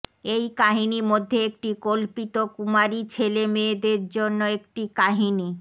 এই কাহিনী মধ্যে একটি কল্পিত কুমারী ছেলে মেয়েদের জন্য একটি কাহিনী